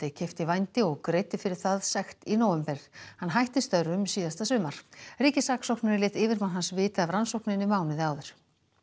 keypti vændi og greiddi fyrir það sekt í nóvember hann hætti störfum síðasta sumar ríkissaksóknari lét yfirmann hans vita af rannsókninni mánuði áður